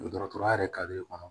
Dɔgɔtɔrɔya yɛrɛ kare kɔnɔ